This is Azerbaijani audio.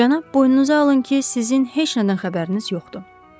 Cənab, boynunuza alın ki, sizin heç nədən xəbəriniz yoxdur.